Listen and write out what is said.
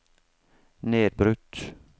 nedbrutt